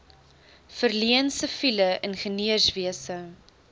verleen siviele ingenieurswese